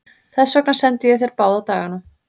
Þess vegna sendi ég þér báða dagana.